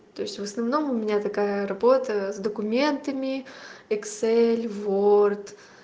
то есть в основном у меня такая работа с документами эксель ворд